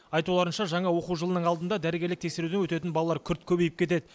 айтуларынша жаңа оқу жылының алдында дәрігерлік тексеруден өтетін балалар күрт көбейіп кетеді